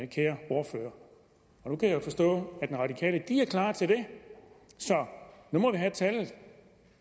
kære ordfører nu kan jeg forstå at de radikale er klar til det så nu må vi have tallet